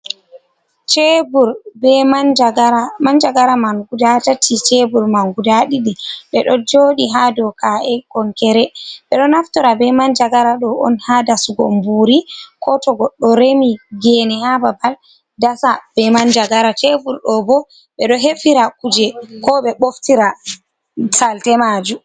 Cebur be manjagara. Manjagara man guda tati, cebur man guda ɗiɗi, ɓe ɗo joɗi ha do ka’e konkere. Ɓeɗo naftora be manjagara ɗo on haa dasugo buuri, ko to goɗɗo remi gene haa babal dasa be manjagara, cebur ɗo bo ɓe ɗo hefira kuje ko ɓe boftira salte maju.